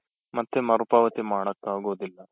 ಮತ್ತೆ ಮರು ಪಾವತಿ ಮಾಡೋಕಾಗೋದಿಲ್ಲ.